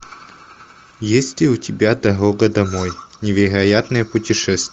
есть ли у тебя дорога домой невероятные путешествия